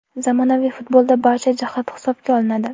Zamonaviy futbolda barcha jihat hisobga olinadi.